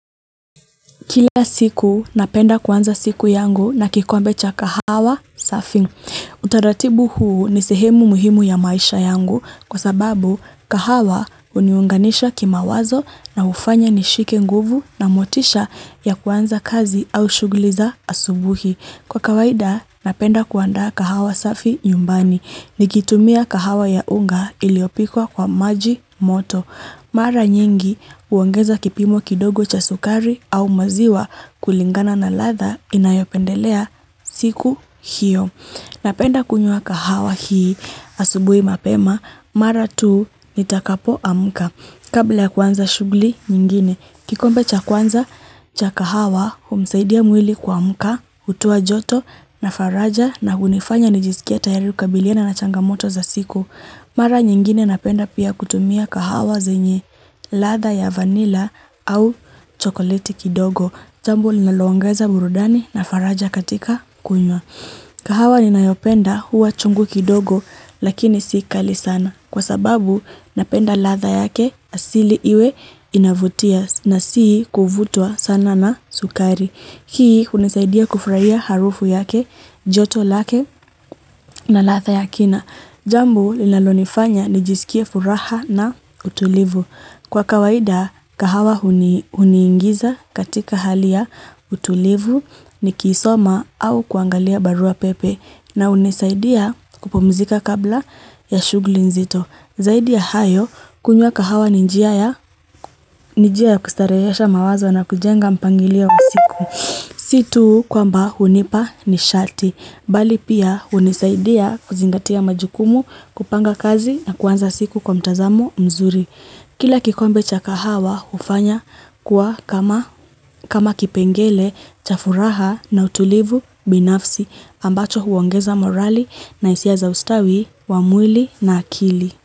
Kila siku napenda kuanza siku yangu na kikombe cha kahawa safi. Utaratibu huu ni sehemu muhimu ya maisha yangu kwa sababu, kahawa huniunganisha kimawazo na hufanya nishike nguvu na motisha ya kuanza kazi au shughuli za asubuhi. Kwa kawaida, napenda kuandaa kahawa safi nyumbani nikitumia kahawa ya unga iliyopikwa kwa maji moto. Mara nyingi huongeza kipimo kidogo cha sukari au maziwa kulingana na ladha ninayopendelea siku hiyo. Napenda kunywa kahawa hii asubui mapema mara tu nitakapoamka. Kabla ya kuanza shughuli nyingine. Kikombe cha kwanza cha kahawa humsaidia mwili kuamka, hutoa joto na faraja na hunifanya nijisikie tayari kukabiliana na changamoto za siku. Mara nyingine napenda pia kutumia kahawa zenye ladha ya vanilla au chokoleti kidogo. Jambo linaloongeza burudani na faraja katika kunywa. Kahawa ninayopenda huwa chungu kidogo lakini si kali sana. Kwa sababu napenda ladha yake asili iwe inavutia na sii kuvutwa sana na sukari. Hii hunisaidia kufurahia harufu yake, joto lake na ladha na Jambo linalonifanya nijisikie furaha na utulivu. Kwa kawaida kahawa huniingiza katika hali ya utulivu nikisoma au kuangalia barua pepe na hunisaidia kupumzika kabla ya shughuli nzito. Zaidi ya hayo, kunywa kahawa ni njia ya kustarehesha mawazo na kujenga mpangilio wa siku. Si tu kwamba hunipa ni sharti. Bali pia, hunisaidia kuzingatia majukumu, kupanga kazi na kuanza siku kwa mtazamo mzuri. Kila kikombe cha kahawa hufanya kuwa kama kipengele cha furaha na utulivu binafsi. Ambacho huongeza morali na hisia za ustawi wa mwili na akili.